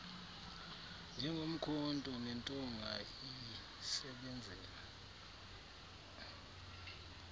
njengomkhonto nentonga iyisebenzela